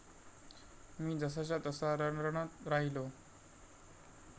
मी जसाच्या तसा रणरणत राहिलो!